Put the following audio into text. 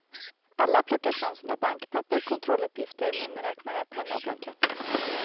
Alla plockar fram sina bankpapper, kontrolluppgifter, miniräknare, penna och blanketter.